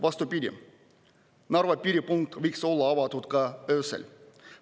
Vastupidi, Narva piiripunkt võiks olla avatud ka öösel.